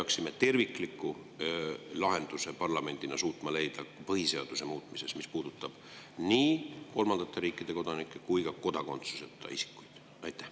Kas me peaksime suutma parlamendina leida tervikliku lahenduse põhiseaduse muutmisel, mis puudutab nii kolmandate riikide kodanikke kui ka kodakondsuseta isikuid?